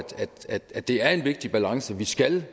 at det er en vigtig balance vi skal